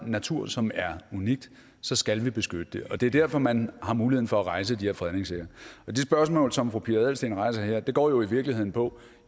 natur som er unikt så skal vi beskytte det det er derfor at man har muligheden for at rejse de her fredningssager og det spørgsmål som fru pia adelsteen rejser her går jo i virkeligheden på